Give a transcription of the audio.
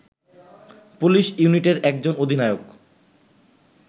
police ইউনিটের একজন অধিনায়ক